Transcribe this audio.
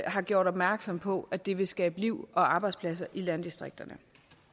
har gjort opmærksom på at det vil skabe liv og arbejdspladser i landdistrikterne